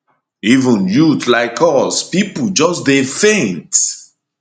even youths like us pipo just dey faint